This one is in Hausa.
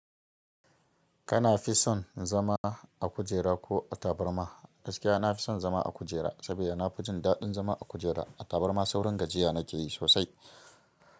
Kana fi son zama a kujera ko a tabarma? Gaskiya na fi son zama a kujera saboda na fi jin daɗin zama a kujera. A tabarma saurin gajiya na ke yi sosai.